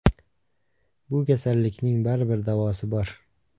Bu kasallikning baribir davosi bor.